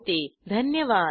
सहभागासाठी धन्यवाद